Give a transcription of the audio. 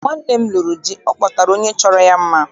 Mgbe nwanne m lụrụ di, ọ kpọtara onye chọrọ ya mma.